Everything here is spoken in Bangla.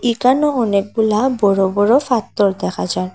একানেও অনেকগুলা বড়ো বড়ো পাত্থর দেখা যায়।